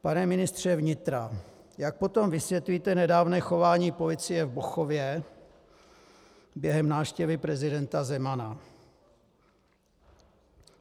Pane ministře vnitra, jak potom vysvětlíte nedávné chování policie v Bochově během návštěvy prezidenta Zemana?